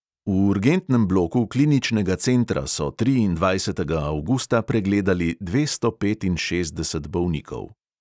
V urgentnem bloku kliničnega centra so triindvajsetega avgusta pregledali dvesto petinšestdeset bolnikov.